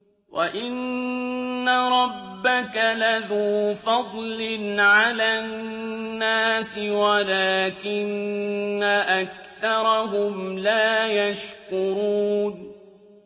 وَإِنَّ رَبَّكَ لَذُو فَضْلٍ عَلَى النَّاسِ وَلَٰكِنَّ أَكْثَرَهُمْ لَا يَشْكُرُونَ